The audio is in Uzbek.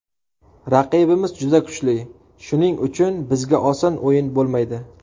Raqibimiz juda kuchli, shuning uchun bizga oson o‘yin bo‘lmaydi.